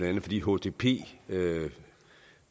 andet fordi hdp